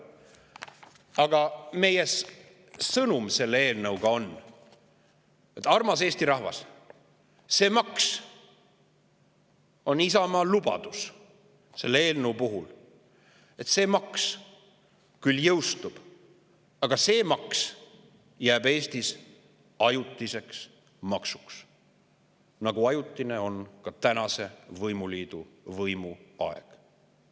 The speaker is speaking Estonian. Aga meie sõnum selle eelnõu kohta on see: armas Eesti rahvas, Isamaa lubadus selle eelnõu puhul on, et see maks küll jõustub, aga see maks jääb Eestis ajutiseks, nagu on ajutine ka tänase võimuliidu võimuaeg.